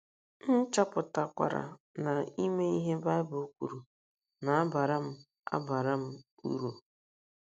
M chọpụtakwara na ime ihe Baịbụl kwuru na - abara m - abara m uru.